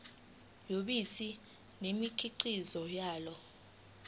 yobisi nemikhiqizo yalo